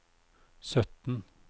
sytten